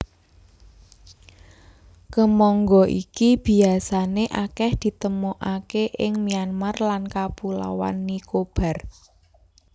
Kemangga iki biasané akèh ditemokaké ing Myanmar lan Kapulauan Nicobar